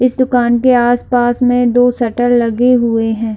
इस दुकान के आस पास में दो शटर लगे हुए है।